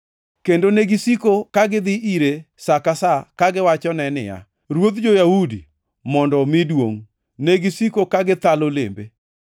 kendo negisiko ka gidhi ire sa ka sa kagiwachone niya, “Ruodh jo-Yahudi, mondo omi duongʼ!” Negisiko ka githalo lembe.